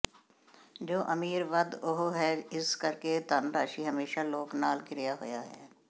ਜੋ ਅਮੀਰ ਵੱਧ ਉਹ ਹੈ ਇਸ ਕਰਕੇ ਧਨ ਰਾਸ਼ੀ ਹਮੇਸ਼ਾ ਲੋਕ ਨਾਲ ਘਿਰਿਆ ਹੋਇਆ ਹੈ